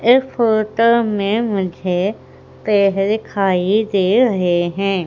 इस फोटो में मुझे पेड़ दिखाई दे रहे हैं।